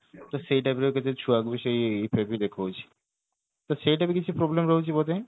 ତ ସେଇଟା ବି ଗୋଟେ ସେ ଛୁଆକୁ ସେଇ ଦେଖଉଛି ତ ସେଇଟା ବି କିଛି problem ରହୁଛି ବୋଧେ